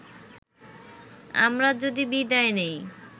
আমরা যদি বিদায় নেই